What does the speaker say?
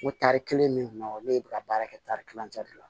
O tari kelen min kunna ne bɛ ka baara kɛ tari kilancɛ de la